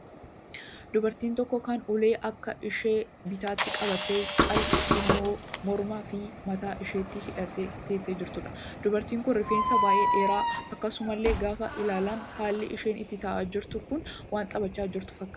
Dubartii tokko kan ulee akka ishee bitaatti qabattee, callee immoo mormaa fi mataa isheetti hidhattee teessee jirtuudha. Dubartiin kun rifeensi baay'ee dheeraadha. Akkasumallee gaafa ilaalan haalli isheen itti ta'aa jirti kun waan dhiphachaa jirtu fakkaata.